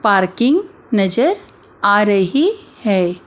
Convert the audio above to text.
Parking नजर आ रही है।